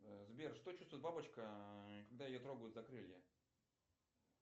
сбер что чувствует бабочка когда ее трогают за крылья